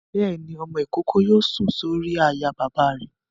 Bẹ́ẹ̀ni, ọmọ-ìkókó yóò sùn sórí àyà bàbá rẹ̀